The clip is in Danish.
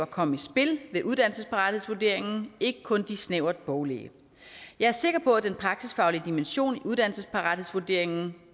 komme i spil ved uddannelsesparathedsvurderingen ikke kun de snævert boglige jeg er sikker på at den praksisfaglige dimension i uddannelsesparathedsvurderingen